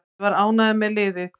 Ég var ánægður með liðið.